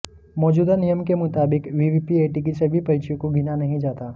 मौजूदा नियम के मुताबिक वीवीपीएटी की सभी पर्चियों को गिना नहीं जाता